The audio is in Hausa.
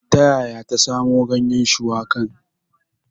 Ta yaya ta samo ganyen shuwakan?